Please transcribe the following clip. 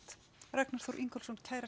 Ragnar Þór Ingólfsson kærar